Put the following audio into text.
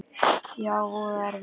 Já, voða erfitt.